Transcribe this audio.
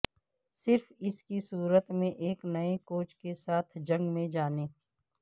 صرف اس صورت میں ایک نئے کوچ کے ساتھ جنگ میں جانے